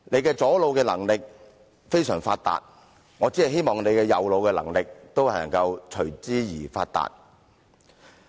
他左腦的能力非常發達，我只希望他右腦的能力也同樣發達。